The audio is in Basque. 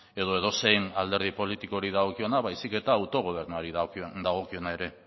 edo edozein alderdi politikoari dagokiona baizik eta autogobernuari dagokiona ere